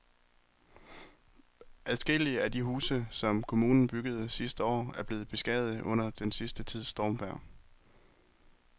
Adskillige af de huse, som kommunen byggede sidste år, er blevet beskadiget under den sidste tids stormvejr.